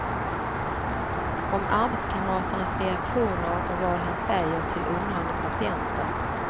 Om arbetskamraternas reaktioner och vad han säger till undrande patienter.